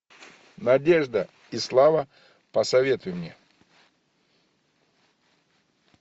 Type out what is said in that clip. надежда и слава посоветуй мне